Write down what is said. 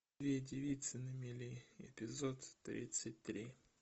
две девицы на мели эпизод тридцать три